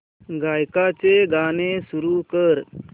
गायकाचे गाणे सुरू कर